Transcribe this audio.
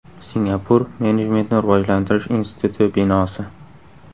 Singapur Menejmentni rivojlantirish instituti binosi.